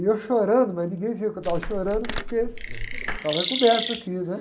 E eu chorando, mas ninguém viu que eu estava chorando, porque estava coberto aqui.